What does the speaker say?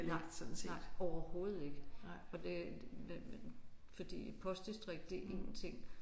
Nej nej overhovedet ikke. For det fordi postdistrikt det er én ting